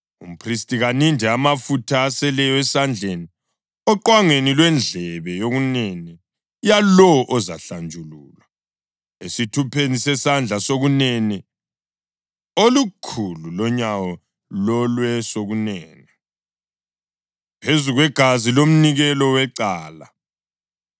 Umphristi kaninde amafutha aseleyo esandleni oqwangeni lwendlebe yokunene yalowo ozahlanjululwa, esithupheni sesandla sokunene lasozwaneni olukhulu lonyawo lolwesokunene, phezu kwegazi lomnikelo wecala.